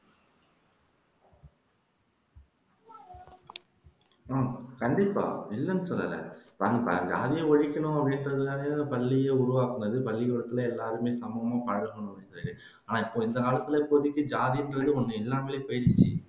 கண்டிப்பா இல்லன்னு சொல்லல ஜாதியை ஒழிக்கணும்னு சொல்லிதான பள்ளியே உருவாக்கினது பள்ளிகூடத்துல எல்லாருமே சமமா பழகனும்னு ஆனா இந்த காலத்துல இப்போதைக்கு ஜாதின்றதே ஒன்னு இல்லாமலே போயிருச்சு